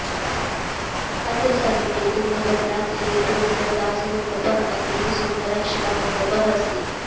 अत्र समीपे तुङ्गभद्रातीरे पुरन्दरदासमण्डपः अतीव सुन्दरः शिलामण्डपः अस्ति